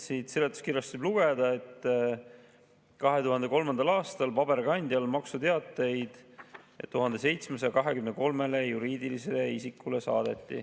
Siit seletuskirjast võib lugeda, et 2003. aastal saadeti paberkandjal maksuteateid 1723 juriidilisele isikule.